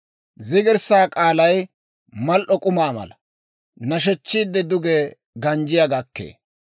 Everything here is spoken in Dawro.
Zigirssaa k'aalay mal"o k'umaa mala; nashechchiide duge ganjjiyaa gakkee.